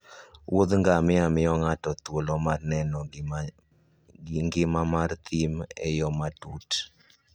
Wuoth ngamia miyo ng'ato thuolo mar neno ngima mar thim e yo matut.